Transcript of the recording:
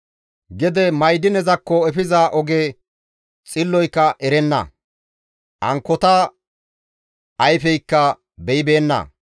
Gede ma7idinezakko efiza oge xilloyka erenna; ankkota ayfeykka beyibeenna.